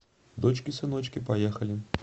дочки сыночки поехали